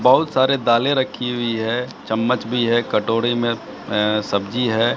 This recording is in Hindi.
बहोत सारे दाले रखी हुई है चम्मच भी है कटोरी में ए सब्जी है।